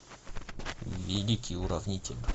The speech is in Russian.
великий уравнитель